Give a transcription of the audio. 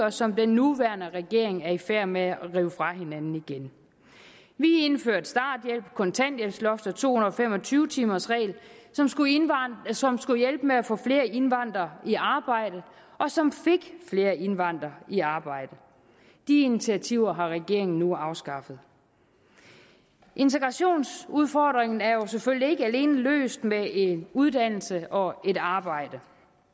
og som den nuværende regering er i færd med at rive fra hinanden igen vi indførte starthjælp kontanthjælpsloft og to hundrede og fem og tyve timersregel som skulle hjælpe med at få flere indvandrere i arbejde og som fik flere indvandrere i arbejde de initiativer har regeringen nu afskaffet integrationsudfordringen er jo selvfølgelig ikke alene løst med en uddannelse og et arbejde